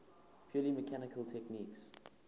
purely mechanical techniques